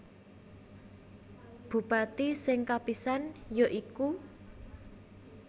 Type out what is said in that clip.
Bupati sing kapisan ya iku